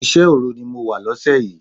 Iṣẹ́ òru ni mo wà lóṣẹ̀ yìí.